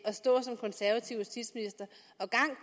at stå som konservativ justitsminister